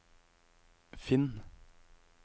finn